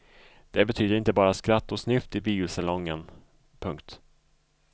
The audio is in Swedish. Det betyder inte bara skratt och snyft i biosalongen. punkt